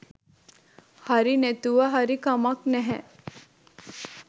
හරි නැතුව හරි කමක් නැහැ